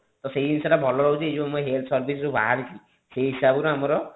ତ ସେଇ ଜିନିଷ ଟା ଭଲ ରହୁଛି ଏଇ ଯୋଉ ମୁଁ ଏଇଠି health service ଯୋଉ ବାହାରିଛି ସେଇ ହିସାବରେ ଆମର